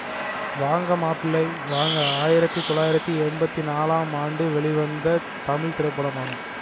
ன்நாளாம் ஆம் ஆண்டு வெளிவந்த தமிழ் திரைப்படமாகும்